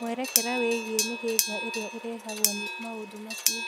Mwerekera wĩgiĩ mĩhĩnga ĩrĩa ĩrehagwo nĩ maũndũ macio